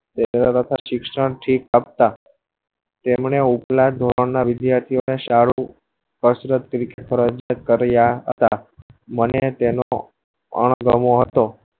શિક્ષણ થી કટ્ટા તેમને ઉપલા ધોરણ ના વિદ્યાર્થીયો ને સારું હસરત તરીકે ફરજ કરીય હતા મને તનો અણગમો હતો